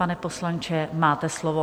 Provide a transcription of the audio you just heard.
Pane poslanče, máte slovo.